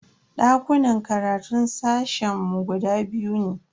Dakunan karatun sashen mu guda biyu ne.